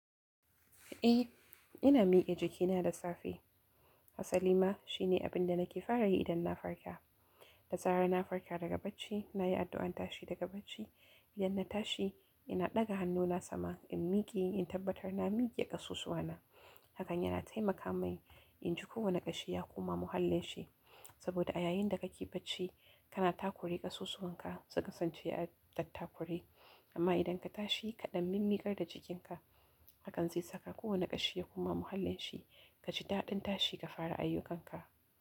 Eh ina mike jikina da safe. Hasali ma shine abin da nake fara yi idan na farka. Da zarar na farka daga bacci, nayi addu'an tashi daga bacci, idan na tashi ina ɗaga hannuna sama in mike, in tabbatar na mike ƙasusuwana. Hakan yana taimaka min in ji kowane ƙashi ya koma muhallin shi. Saboda a yayin da kake bacci kana takure ƙasusuwanka su kasance a tattakure, amma idan ka tashi kaɗan mimmikar da jikinka. Hakan zai saka kowane ƙashi ya koma muhallin shi. Kaji dadin tashi ka fara ayyukanka.